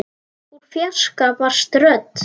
Úr fjarska barst rödd.